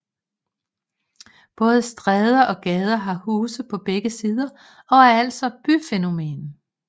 Både stræder og gader har huse på begge sider og er altså et byfænomen